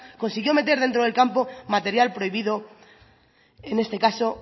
consiguió meter dentro del campo material prohibido en este caso